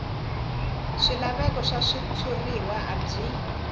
swilaveko swa switshuriwa a byi